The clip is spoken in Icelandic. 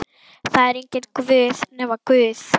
Það er enginn Guð nema Guð.